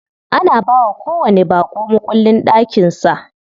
Ana bawa kowanni baƙo mukullin ɗakin sa.